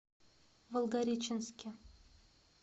волгореченске